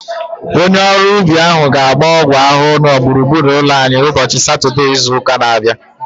Onye ọrụ ubi ahu ga-agba ọgwụ ahụhụ na gburugburu ụlọ anyị ụbọchị Satọdee izu ụka na-abịa